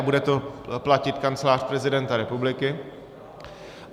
A bude to platit Kancelář prezidenta republiky.